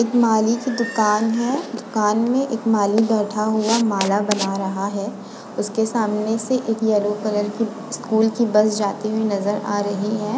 एक माली की दुकान है। दुकान में एक माली बैठा हुआ माला बना रहा है। उसके सामने से एक येलो कलर की स्कूल की बस जाती हुई नजर आ रही है।